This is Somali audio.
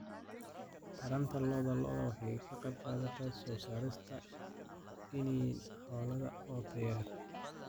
Taranta lo'da lo'da waxay ka qaybqaadataa soo saarista iniin xoolaad oo tayo leh.